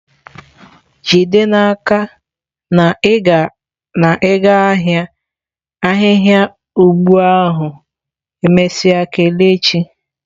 Jide n'aka na i ga-ahia ahihia ugbo ahu emesia kelechi.